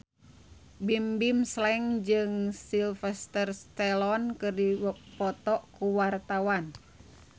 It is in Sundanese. Bimbim Slank jeung Sylvester Stallone keur dipoto ku wartawan